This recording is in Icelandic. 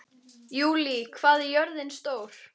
Júlí, hvað er jörðin stór?